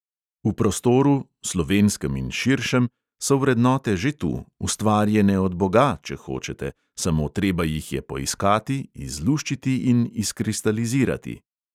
V prostoru, slovenskem in širšem, so vrednote že tu, ustvarjene od boga, če hočete, samo treba jih je poiskati, izluščiti in izkristalizirati.